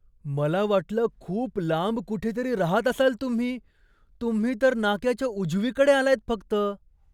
मला वाटलं खूप लांब कुठेतरी राहत असाल तुम्ही. तुम्ही तर नाक्याच्या उजवीकडे आलायत फक्त.